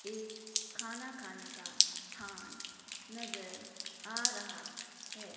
एक खाना खाने का स्थान नजर आ रहा है।